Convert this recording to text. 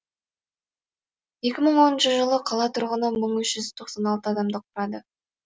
екі мың оныншы жылы қала тұрғыны мың үш жүз тоқсан алты адамды құрады